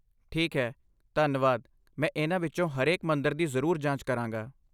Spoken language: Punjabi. ਠੀਕ ਹੈ, ਧੰਨਵਾਦ, ਮੈਂ ਇਨ੍ਹਾਂ ਵਿੱਚੋਂ ਹਰੇਕ ਮੰਦਰ ਦੀ ਜ਼ਰੂਰ ਜਾਂਚ ਕਰਾਂਗਾ!